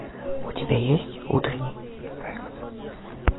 у тебя есть утренний секс